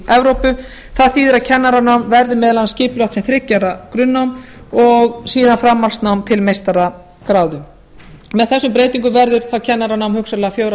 evrópu það þýðir að kennaranám verði meðal annars skipulagt sem þriggja ára grunnnám og síðan framhaldsnám til meistaragráðu með þessum breytingum verður þá kennaranám hugsanlega fjögurra ára